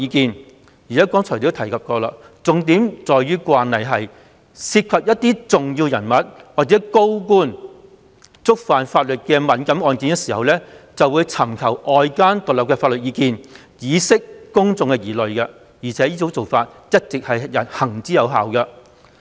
正如我剛才所述，重點在於慣例是，但凡涉及重要人物或高官觸犯法律的敏感案件，均會尋求外間獨立的法律意見，以釋除公眾疑慮，而且這做法一直行之有效。